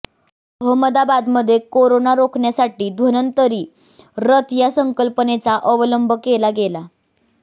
अहमदाबादमध्ये करोना रोखण्यासाठी धन्वंतरी रथ या संकल्पनेचा अवलंब केला गेला